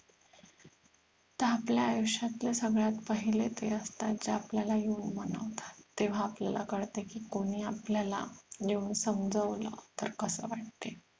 त आपल्या आयुष्यातले सगळ्यात पहिले ते असतात जे आपल्याला येऊन मनवतात तेव्हा आपल्याला कळत की कोणी आपल्याला येऊन समजवलं तर कस वाटतंय